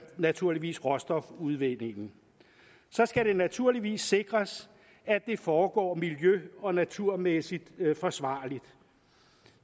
naturligvis råstofudvindingen så skal det naturligvis sikres at det foregår miljø og naturmæssigt forsvarligt